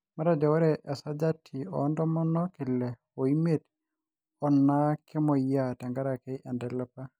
matejo ore esajati oo ntomon ile oimiet oo naa kemoyiaa tengaraki intalipa